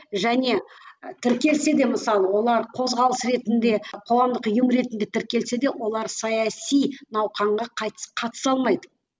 және і тіркелсе де мысалы олар қозғалыс ретінде қоғамдық ұйым ретінде тіркелсе де олар саяси науқанға қатыса алмайды